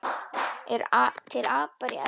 Eru til apar í Evrópu?